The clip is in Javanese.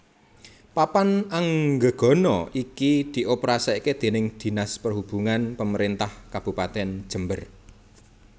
Papan Anggegana iki dioperasikake déning Dinas Perhubungan Pemerintah Kabupatèn Jember